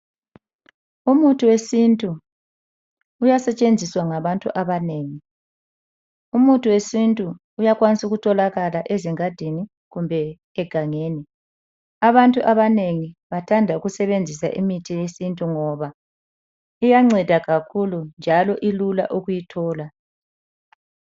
Umuthi wesintu uyasetshenziswa ngabantu abanengi. Umuthi wesintu uyakwanisa ukutholakala ezingadini kumbe egangeni. Abantu abanengi bathanda ukusebenzisa imithi yesintu ngoba iyanceda kakhulu njalo kulula ukuyithola.